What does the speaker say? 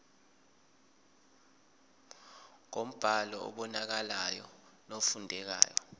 ngombhalo obonakalayo nofundekayo